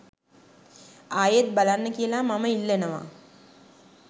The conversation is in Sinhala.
ආයෙත් බලන්න කියලා මම ඉල්ලනවා